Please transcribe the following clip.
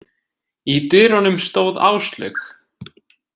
Í dyrunum stóð Áslaug.